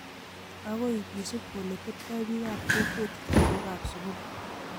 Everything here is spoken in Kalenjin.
agoi kisuup oletebtoi biikap kokwet lagookab sugul